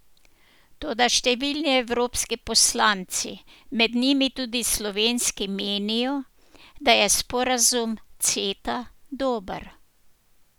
Toda številni evropski poslanci, med njimi tudi slovenski menijo, da je sporazum Ceta dober.